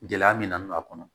Gɛlɛya min na n don a kɔnɔ